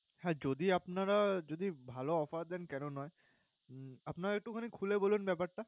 হ্যাঁ যদি আপনারা, যদি ভালও offer দেন কেন নয়? আপনারা একটুখানি খুলে বলুন ব্যাপার টা।